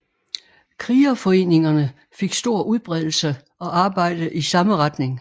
Krigerforeningerne fik stor udbredelse og arbejdede i samme retning